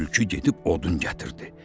Tülkü gedib odun gətirdi.